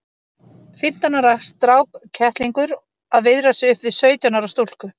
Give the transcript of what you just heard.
Fimmtán ára strákkettlingur að viðra sig upp við sautján ára stúlku!